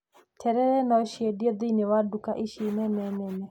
Terere no ciendio thĩiniĩ wa nduka ici nene nene.